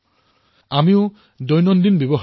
ইয়াৰ বাবে উদ্যমী সতীৰ্থসকল আগুৱাই আহিব লাগিব